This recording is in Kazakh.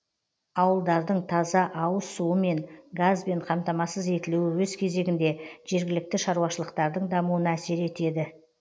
ауылдардың таза ауыз суымен газбен қамтамасыз етілуі өз кезегінде жергілікті шаруашылықтардың дамуына әсер етеді